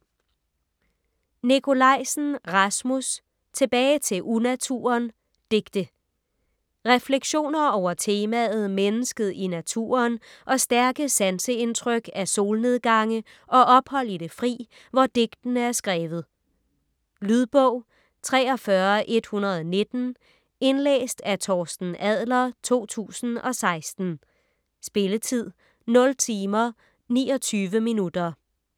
Nikolajsen, Rasmus: Tilbage til unaturen: digte Refleksioner over temaet mennesket i naturen og stærke sanseindtryk af solnedgange og ophold i det fri, hvor digtene er skrevet. Lydbog 43119 Indlæst af Torsten Adler, 2016. Spilletid: 0 timer, 29 minutter.